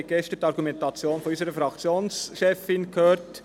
sie haben gestern die Argumentation unserer Fraktionschefin gehört.